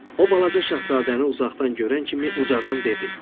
O balaca şahzadəni uzaqdan görən kimi ucadan dedi: